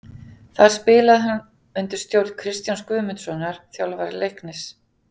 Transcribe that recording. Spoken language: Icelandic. Þar spilaði hann undir stjórn Kristjáns Guðmundssonar, þjálfara Leiknis.